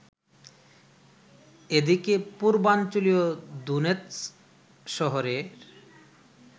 এদিকে পূর্বাঞ্চলীয় দোনেৎস্ক শহরের